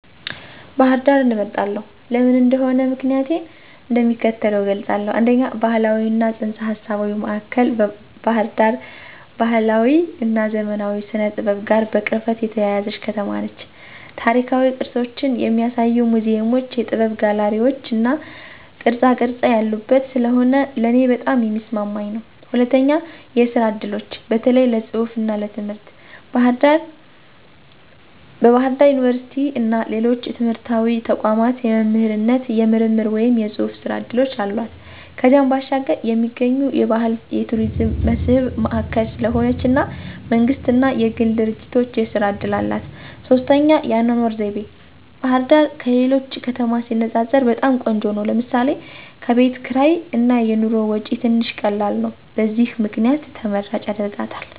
ባህር ዳርን እመርጣለሁ። ለምን እንደሆነ ምክንያቲን እንደሚከተለው እገልፃለሁ፦ 1, ባህላዊ እና ፅንሰ-ሀሳባዊ ማእከል ባህር ዳር ባህላዊ እና ዘመናዊ ስነ-ጥበብ ጋር በቅርበት የተያያዘች ከተማ ነች። ታሪካዊ ቅርሶችን የሚያሳዩ ሙዚየሞች፣ የጥበብ ጋለሪዎች እና ቅርፃቅረፅ ያሉባት ስለሆነ ለእኔ በጣም የሚስማማኝ ነው። 2, የስራ እድሎች (በተለይ ለፅሁፍ እና ትምህርት) ፦ በባህር ዳር ዩኒቨርሲቲ እና ሌሎች ትምህርታዊ ተቋማት የመምህርነት፣ የምርምር ወይም የጽሑፍ ሥራ ዕድሎች አሏት። ከዚያም ባሻገር የሚገኙ የባህል የቱሪዝም መስህብ ማእከል ስለሆነች እና መንግስት እና የግል ድርጂቶች የስራ እድል አላት። 3, የአኗኗር ዘይቤ፦ ባህርዳር ከሌሎች ከተማ ሲነፃፀር በጣም ቆንጆ ነው ለምሳሌ፦ ከቤት ክርይ እና የኑሮ ወጪ ትንሽ ቀላል ነው። በዚህ ምክንያት ተመራጭ ያደርጋታል።